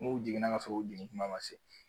N'u jiginna ka sɔrɔ u jigin kuma ma se